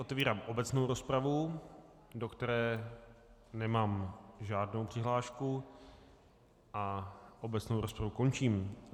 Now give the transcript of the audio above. Otevírám obecnou rozpravu, do které nemám žádnou přihlášku, a obecnou rozpravu končím.